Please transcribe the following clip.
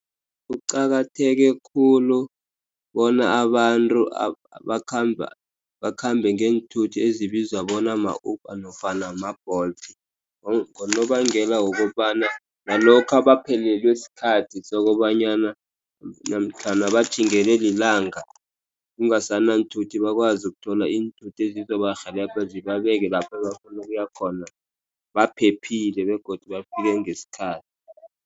Kuqakatheke khulu bona abantu bakhambe ngeenthuthi ezibizwa bona ma-Uber nofana ma-Bolt. Ngonobangela wokobana nalokha baphelelwe sikhathi sokobanyana namkhana batjhingelwe lilanga, kungasana iinthuthi bakwazi ukuthola iinthuthi ezizobarhelebha zibabeke lapho bafuna ukuya khona baphephile. Begodu bafike ngesikhathi.